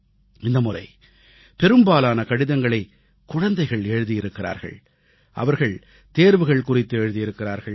இந்த முறை பெரும்பாலான கடிதங்களைக் குழந்தைகள் எழுதியிருக்கிறார்கள் அவர்கள் தேர்வுகள் குறித்து எழுதியிருக்கிறார்கள்